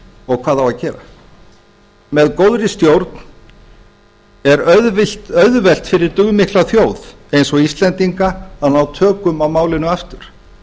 og hvað á að gera með góðri stjórn er auðvelt fyrir dugmikla þjóð eins og íslendinga að ná tökum á málinu aftur